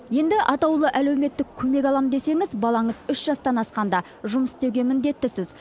енді атаулы әлеуметтік көмек алам десеңіз балаңыз үш жастан асқанда жұмыс істеуге міндеттісіз